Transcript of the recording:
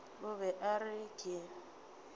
o be a re ke